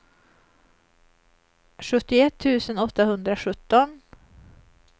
sjuttioett tusen åttahundrasjutton